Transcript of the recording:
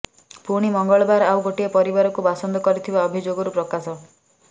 ପୁଣି ମଙ୍ଗଳବାର ଆଉ ଗୋଟିଏ ପରିବାରକୁ ବାସନ୍ଦ କରିଥିବା ଅଭିଯୋଗରୁ ପ୍ରକାଶ